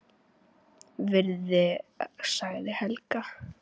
Virði sagði Helga.